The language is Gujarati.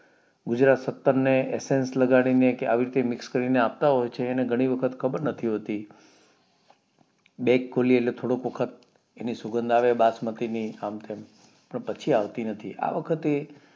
ગુજરાત ને એસેન્સ લગાડીને કે આવી રીતે mix કરીને આપતા હોય છે અને ઘણી વખત ખબર નથી હોતી bag ખોલીયે એટલે થોડોક વખત એની સુગંધ આવે બસમાતીની આમ તેમ પણ પછી આવતી નથી આ વખતે